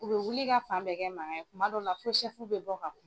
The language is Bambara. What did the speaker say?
U bɛ wuli ka fan bɛɛ kɛ mankan kuma dɔ la fɔ sɛfu bɛ bɔ ka kuma.